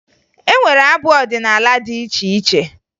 E nwere abụ ọdịnaala dị iche iche